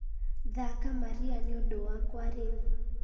thaaka maria nĩ ũndũ wakwa rĩu